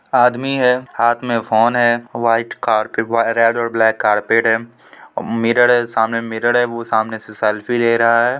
आदमी है हाथ में फोन है व्हाइट कार-रेड और ब्लैक कारपेट है मिरर है मिरर है वो सामने से सेल्फी ले रहा है।